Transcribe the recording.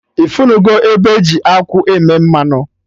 Ifunugo ebe eji akwụ eme mmanụ?